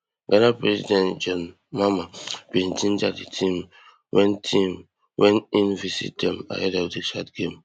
ghana president john mahama bin ginger di team wen team wen im visit dem ahead of di chad game